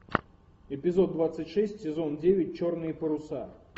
эпизод двадцать шесть сезон девять черные паруса